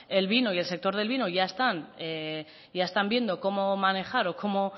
el vino y el sector del vino ya están viendo cómo manejar o cómo